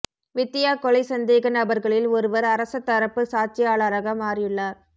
வித்தியா கொலைச் சந்தேக நபர்களில் ஒருவர் அரச தரப்பு சாட்சியாளராக மாறியுள்ளார்